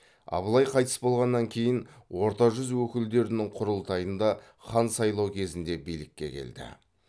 абылай қайтыс болғаннан кейін орта жүз өкілдерінің құрылтайында хан сайлау кезінде билікке келді